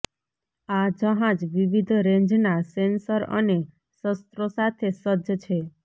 આ જહાજ વિવિધ રેન્જનાં સેન્સર અને શસ્ત્રો સાથે સજ્જ છે